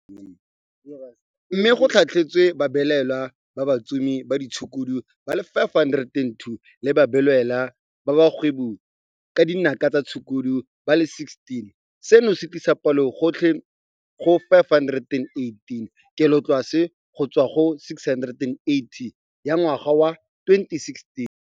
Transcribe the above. mme go tlhatlhetswe babelaelwa ba batsomi ba ditshukudu ba le 502 le babelaelwa ba bagwebi ka dinaka tsa ditshukudu ba le 16, seno se tlisa palo go 518, kwelotlase go tswa go 680 ya ngwaga wa 2016.